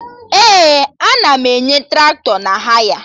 Ee, ana m enye Traktọ na haya